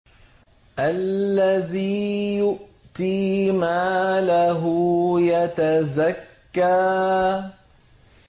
الَّذِي يُؤْتِي مَالَهُ يَتَزَكَّىٰ